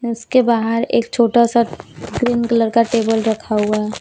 उसके बाहर एक छोटा सा ग्रीन कलर का टेबल रखा हुआ है।